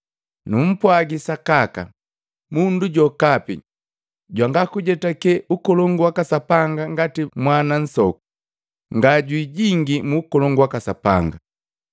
Numpwagi sakaka, mundu jokapi jwanga kujetake Ukolongu waka Sapanga ngati mwana nsoku, ngajwi jingii mu Ukolongu waka Sapanga.”